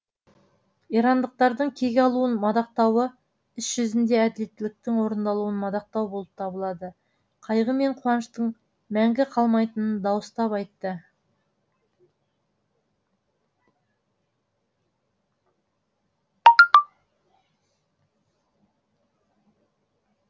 ирандықтардың кек алуын мадақтауы іс жүзінде әділеттіліктің орындалуын мадақтау болып табылады қайғы мен қуаныштың мәңгі қалмайтынын дауыстап айтты